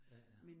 Ja ja